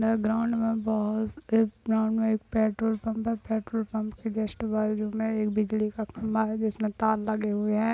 Background में बहोत एक ग्राउंड में एक पेट्रोल पम्प है पेट्रोल पम्प के जस्ट बाजू में एक बिजली का खंभा है जिसमे तार लगे हुए हैं।